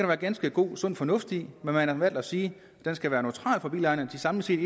være ganske god og sund fornuft i men man har valgt at sige at den skal være neutral for bilejerne at de samlet set